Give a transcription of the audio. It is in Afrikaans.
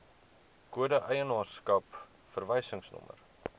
kode eienaarskap verwysingsnommer